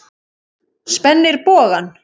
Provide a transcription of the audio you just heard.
Spennir bogann.